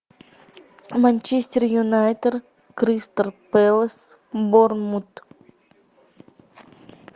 манчестер юнайтед кристал пэлас борнмут